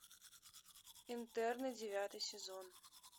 интерны девятый сезон